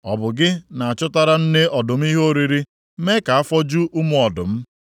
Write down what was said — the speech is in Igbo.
“Ọ bụ gị na-achụtara nne ọdụm ihe oriri, mee ka afọ ju ụmụ ọdụm